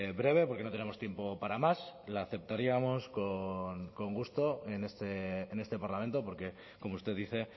breve porque no tenemos tiempo para más la aceptaríamos con gusto en este parlamento porque como usted dice